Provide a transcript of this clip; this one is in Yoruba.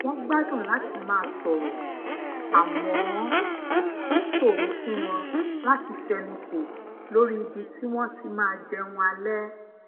wón gbádùn lati maa sòrò àmó ó ṣòro fún wọn láti fenuko lórí ibi tí wón ti máa jẹun alé